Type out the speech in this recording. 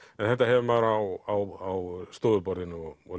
þetta hefur maður á stofuborðinu og og